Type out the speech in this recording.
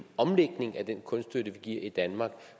omlægning af den kunststøtte vi giver i danmark